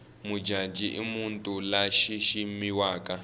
mujaji imuntu lashishimiwaka